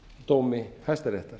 dómi hæstaréttar